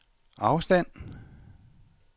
afstand